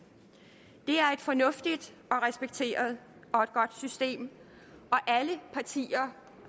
det er et fornuftigt og respekteret og et godt system alle partier